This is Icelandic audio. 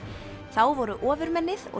þá voru ofurmennið og